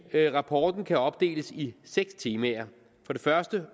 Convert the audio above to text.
i rapporten kan opdeles i seks temaer for det første